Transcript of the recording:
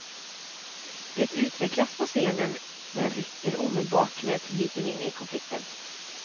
Det utvecklas på scenen men rycker omedelbart med publiken in i konflikten.